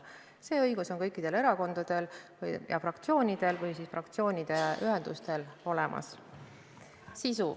See õigus on kõikidel erakondadel ja fraktsioonidel või siis fraktsioonide ühendustel olemas.